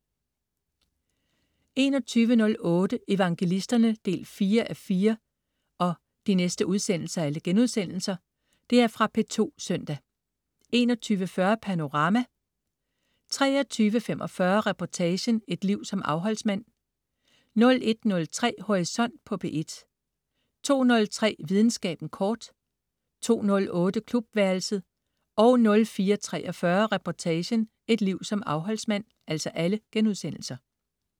21.08 Evangelisterne 4:4.* Fra P2 søndag 21.40 Panorama* 23.45 Reportagen: Et liv som afholdsmand* 01.03 Horisont på P1* 02.03 Videnskaben kort* 02.08 Klubværelset* 04.43 Reportagen: Et liv som afholdsmand*